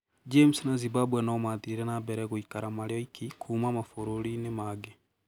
James na Zimbabwe no maathire na mbere gũikara marĩ oiki kuuma mabũrũriinĩ mangĩ